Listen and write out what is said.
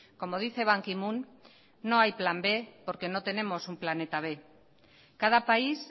como dice ban ki moon no hay plan b porque no tenemos un planeta b cada país